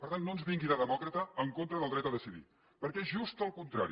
per tant no ens vingui de demòcrata en contra del dret a decidir perquè és just el contrari